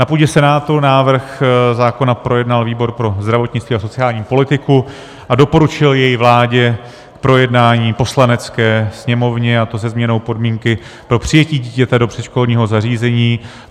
Na půdě Senátu návrh zákona projednal výbor pro zdravotnictví a sociální politiku a doporučil jej vládě k projednání v Poslanecké sněmovně, a to se změnou podmínky pro přijetí dítěte do předškolního zařízení.